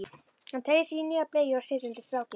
Hann teygir sig í nýja bleyju og setur undir strákinn.